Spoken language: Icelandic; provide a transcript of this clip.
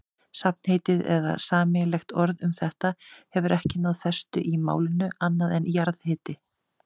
Safnheiti eða sameiginlegt orð um þetta hefur ekki náð festu í málinu, annað en jarðhiti.